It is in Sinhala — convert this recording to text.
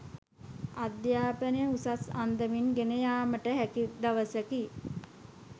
අධ්‍යාපනය උසස් අන්දමින් ගෙන යාමට හැකි දවසකි